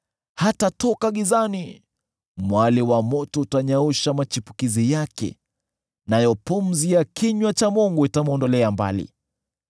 Hatatoka gizani; mwali wa moto utanyausha machipukizi yake, nayo pumzi ya kinywa cha Mungu itamwondolea mbali.